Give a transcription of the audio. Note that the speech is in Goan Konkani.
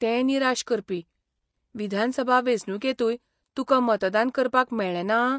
तें निराश करपी. विधानसभा वेंचणुकेंतूय तुकां मतदान करपाक मेळ्ळें ना?